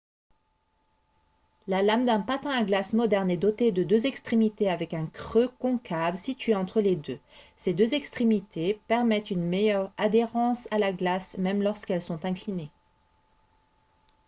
la lame d'un patin à glace moderne est dotée de deux extrémités avec un creux concave situé entre les deux ces deux extrémités permettent une meilleure adhérence à la glace même lorsqu'elles sont inclinées